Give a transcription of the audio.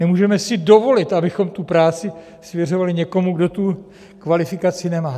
Nemůžeme si dovolit, abychom tu práci svěřovali někomu, kdo tu kvalifikaci nemá.